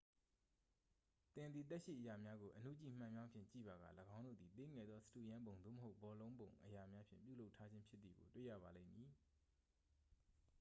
သင်သည် သက်ရှိအရာများကို အဏုကြည့်မှန်ပြောင်းဖြင့်ကြည့်ပါက ၎င်းတို့သည် သေးငယ်သော စတုရန်းပုံ သို့မဟုတ် ဘောလုံးပုံအရာများဖြင့် ပြုလုပ်ထားခြင်းဖြစ်သည်ကို တွေ့ရပါလိမ့်မည်